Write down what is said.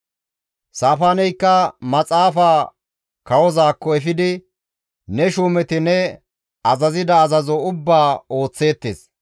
Saafaaneykka maxaafaa kawozaakko efidi, «Ne shuumeti ne azazida azazo ubbaa ooththeettes.